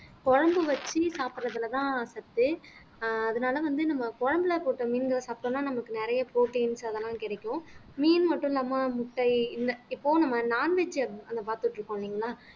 குழம்பு வச்சு சாப்பிடுறதுலதான் சத்து ஆஹ் அதனால வந்து நம்ம குழம்புல போட்ட மீன்கள் சாப்பிட்டோம்னா நமக்கு நிறைய proteins அதெல்லாம் கிடைக்கும் மீன் மட்டும் இல்லாமல் முட்டை இல்ல இப்போ நம்ம non veg பார்த்துட்டு இருக்கோம் இல்லைங்களா